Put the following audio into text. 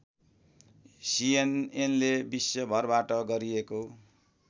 सिएनएनले विश्वभरबाट गरिएको